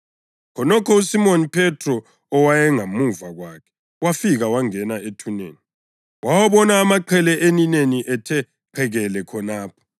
Khonokho uSimoni Phethro owayengemuva kwakhe wafika wangena ethuneni. Wawabona amaqhele elineni ethe qekele khonapho,